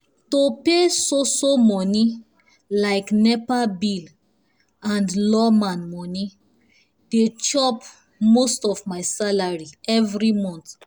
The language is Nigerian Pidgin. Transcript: to pay so so money like nepa bill and lawma money dey chop most of my salary every month